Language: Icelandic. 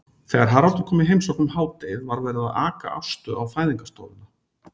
Þegar Haraldur kom í heimsókn um hádegið var verið að aka Ástu á fæðingarstofuna.